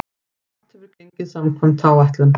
Allt hefur gengið samkvæmt áætlun.